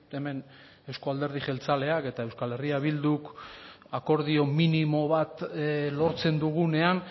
hemen euzko alderdi jeltzaleak eta euskal herria bilduk akordio minimo bat lortzen dugunean